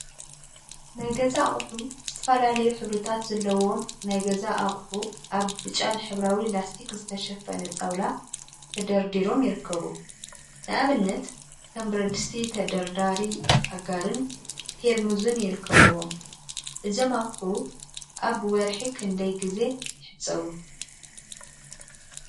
ናይ ገዛ አቁሑ ዝተፈላለዩ ሕብሪታት ዘለዎም ናይ ገዛ አቁሑ አብ ብጫን ሕብራዊ ላስቲክ ዝተሸፈነ ጣውላ ተደርዲሮም ይርከቡ፡፡ ንአብነት ከም ብረድስቲ፣ ተደርዳሪ አጋርን ፔርሙዝን ይርከቡዎም፡፡ እዞም አቁሑ አብ ወርሒ ክንደይ ጊዜ ይሕፀቡ?